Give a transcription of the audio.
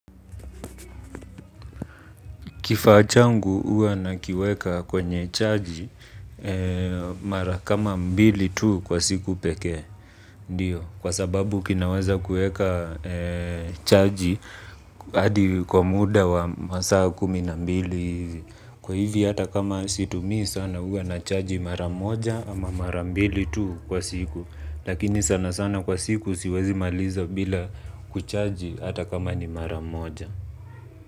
Kifaa changu huwa nakiweka kwenye chaji mara kama mbili tu kwa siku pekee. Ndio, kwa sababu kinaweza kueka chaji hadi kwa muda wa masaa kumi na mbili. Kwa hivi hata kama situmii sana huwa nachaji mara moja ama mara mbili tu kwa siku. Lakini sana sana kwa siku siwezi maliza bila kuchaji hata kama ni mara moja.